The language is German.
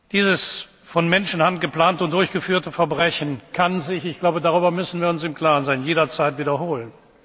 geworden. Dieses von Menschenhand geplante und durchgeführte Verbrechen kann sich darüber müssen wir uns im Klaren sein jederzeit